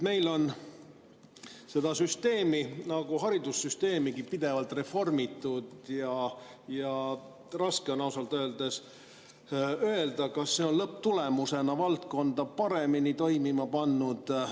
Meil on seda süsteemi nagu haridussüsteemigi pidevalt reformitud ja raske on ausalt öeldes aru saada, kas see on lõpptulemusena valdkonda paremini toimima pannud.